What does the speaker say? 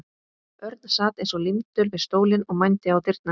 Örn sat eins og límdur við stólinn og mændi á dyrnar.